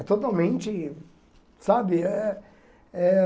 É totalmente, sabe? Eh eh